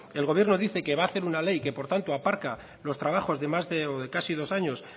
el gobierno dice que va hacer una ley y que por tanto aparca los trabajos de más de o de casi dos años